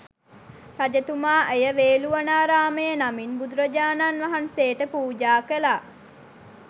රජතුමා එය වේළුවනාරාමය නමින් බුදුරජාණන් වහන්සේට පූජා කළා.